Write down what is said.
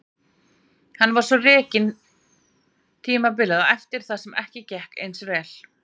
Hann var svo rekinn tímabilið á eftir þar sem ekki gekk eins vel.